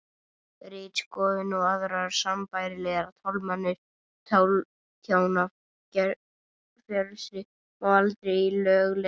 ritskoðun og aðrar sambærilegar tálmanir á tjáningarfrelsi má aldrei í lög leiða